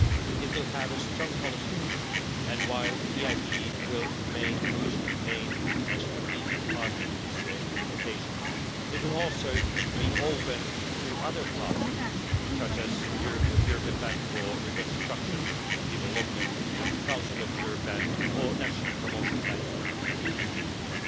It will have a strong policy focus and, while the EIB will remain the Commission's main strategic partner in this implementation, it will also be open to other partners such as the European Bank for Reconstruction and Development, the Council of Europe Development Bank or national promotional banks and institutions.